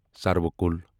سروٕ کُل